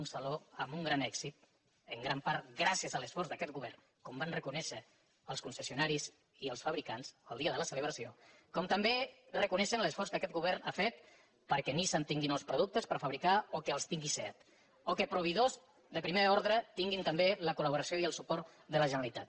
un saló amb un gran èxit en gran part gràcies a l’esforç d’aquest govern com van reconèixer els concessionaris i els fabricants el dia de la celebració com també reconeixen l’esforç que aquest govern ha fet perquè nissan tingui nous produc·tes per fabricar o perquè els tingui seat o que proveï·dors de primer ordre tinguin també la col·laboració i el suport de la generalitat